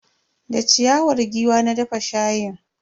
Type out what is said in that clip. Da ciyawar giwa na dafa shayin.